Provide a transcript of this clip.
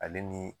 Ale ni